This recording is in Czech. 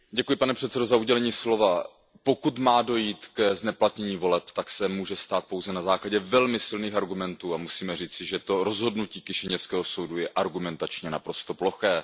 Pane předsedající, pokud má dojít k zneplatnění voleb, tak se tak může stát pouze na základě velmi silných argumentů a musíme říci, že to rozhodnutí kišiněvského soudu je argumentačně naprosto ploché.